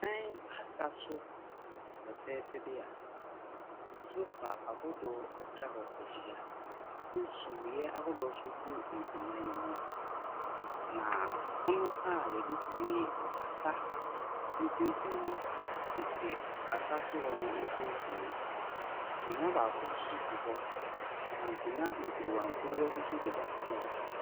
Ɛda asa so fɛfɛɛfɛ bi a sofa ahodoɔ atwa hɔ ahyia. Ne sumiiɛ ahodoɔ nso gu akonna yi mu. Na pono a yɛde si asa mfinimfini no si asaso hɔ no mfinimfini. Akonnwa baako si hɔ, na nkonnwa nkorowankorowa bi nso deda fam hɔ.